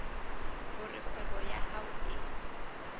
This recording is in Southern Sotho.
hore kgwebo ya hao e